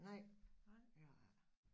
Nej det har jeg ikke